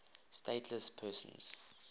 stateless persons